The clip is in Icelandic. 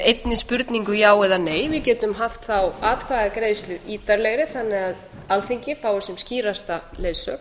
einni spurningu já eða nei við getum haft þá atkvæðagreiðslu ítarlegri þannig að alþingi fái sem skýrasta leiðsögn